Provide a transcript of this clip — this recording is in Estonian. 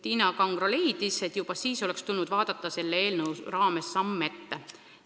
Tiina Kangro leidis, et juba siis oleks tulnud vaadata samm ette.